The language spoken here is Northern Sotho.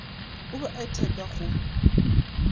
o be a iteka go